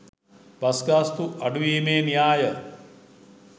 bus ගාස්තු අඩු වීමේ න්‍යාය